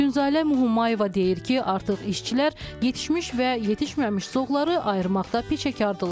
Tünzalə Humayeva deyir ki, artıq işçilər yetişmiş və yetişməmiş zoğları ayırmaqda peşəkardırlar.